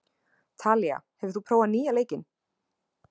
Talía, hefur þú prófað nýja leikinn?